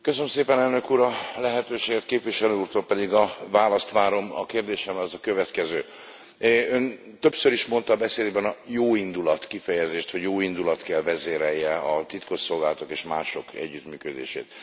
Köszönöm szépen, Elnök Úr, a lehetőséget, Képviselő Úrtól pedig a választ várom, a kérdésem az a következő Ön többször is mondta beszédében a jóindulat kifejezést, hogy jóindulat kell vezérelje a titkosszolgálatok és mások együttműködését.